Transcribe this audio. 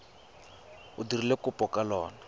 o dirileng kopo ka lona